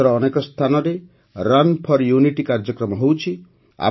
ଦେଶର ଅନେକ ସ୍ଥାନରେ ରନ୍ ଫୋର ୟୁନିଟି କାର୍ଯ୍ୟକ୍ରମ ହେଉଛି